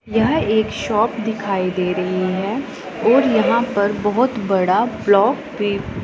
यह एक शॉप दिखाई दे रही है और यहां पर बहोत बड़ा ब्लॉक भी--